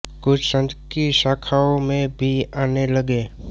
कुछ संघ की शाखाओं में भी आने लगे